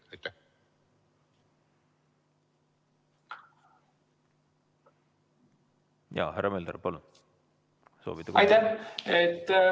Jaa, härra Mölder, palun!